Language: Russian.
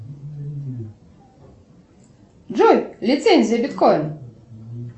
джой лицензия биткоин